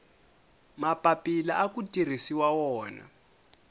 mapapila aku tirhisiwa wona